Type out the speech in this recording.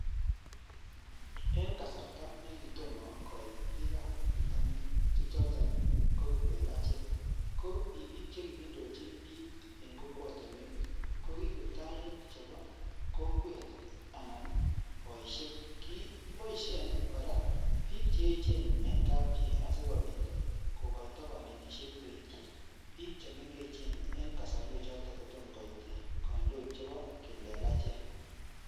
En kasarta nekit tomo koit bikan bitonin, bichoton ii ko kiplelachek, ko ki biik che kiindochin biik en kokwotinwek ko kiptainik chebo kokwet amun boishek. Kigiboishen kora biik che eechen en kapchii asikobit kogoito konetishet koityi biik che mengechen en kasarwek choto kotomo koit kandoik chebo kiplelachek.